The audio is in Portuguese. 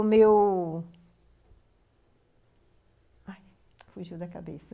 O meu... Ai, fugiu da cabeça.